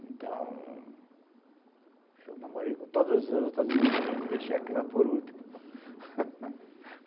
Então, eu namorei com todas as outras vizinhas e deixei aquela por último